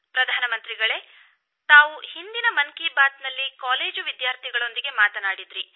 ಪ್ರಧಾನಮಂತ್ರಿಗಳೆ ತಾವು ಹಿಂದಿನ ಮನ್ ಕೀ ಬಾತ್ನಲ್ಲಿ ಕಾಲೇಜು ವಿದ್ಯಾರ್ಥಿಗಳೊಂದಿಗೆ ಮಾತನಾಡಿದ್ದಿರಿ